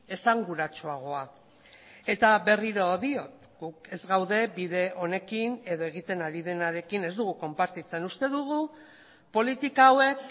esanguratsuagoa eta berriro diot guk ez gaude bide honekin edo egiten ari denarekin ez dugu konpartitzen uste dugu politika hauek